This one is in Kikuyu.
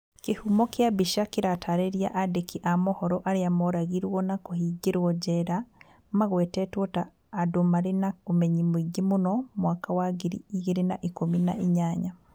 kĩhumo kia mbica kĩratariria andĩki a mohoro arĩa moragirwo na kũhingĩrwo jera magwetetwo ta andũ marĩ na ũmenyi mũingĩ mũno mwaka wa ngiri igĩrĩ na ikũmi na inyanya